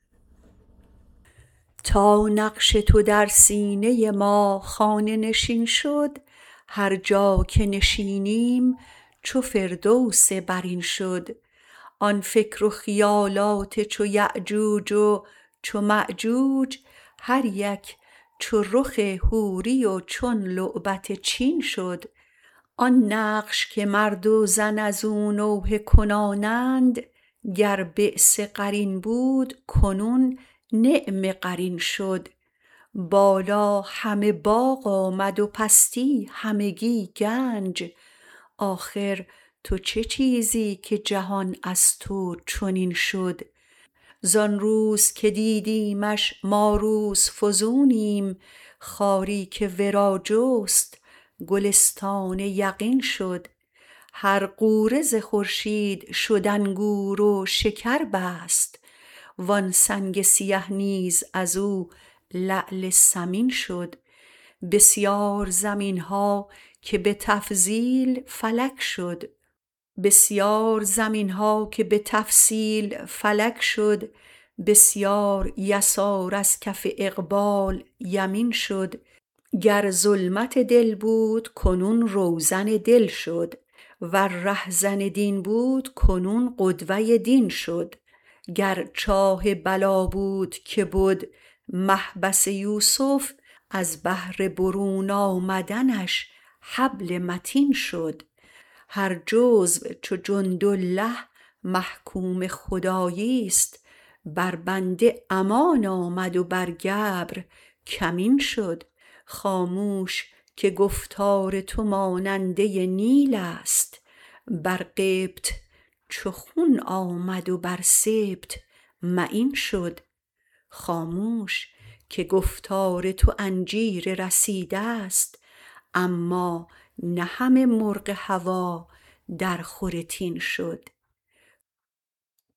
تا نقش تو در سینه ما خانه نشین شد هر جا که نشینیم چو فردوس برین شد آن فکر و خیالات چو یأجوج و چو مأجوج هر یک چو رخ حوری و چون لعبت چین شد آن نقش که مرد و زن از او نوحه کنانند گر بیس قرین بود کنون نعم قرین شد بالا همه باغ آمد و پستی همگی گنج آخر تو چه چیزی که جهان از تو چنین شد زان روز که دیدیمش ما روزفزونیم خاری که ورا جست گلستان یقین شد هر غوره ز خورشید شد انگور و شکر بست وان سنگ سیه نیز از او لعل ثمین شد بسیار زمین ها که به تفصیل فلک شد بسیار یسار از کف اقبال یمین شد گر ظلمت دل بود کنون روزن دل شد ور رهزن دین بود کنون قدوه دین شد گر چاه بلا بود که بد محبس یوسف از بهر برون آمدنش حبل متین شد هر جزو چو جندالله محکوم خداییست بر بنده امان آمد و بر گبر کمین شد خاموش که گفتار تو ماننده نیلست بر قبط چو خون آمد و بر سبط معین شد خاموش که گفتار تو انجیر رسیدست اما نه همه مرغ هوا درخور تین شد